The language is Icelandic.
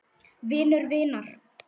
Vinur vinar?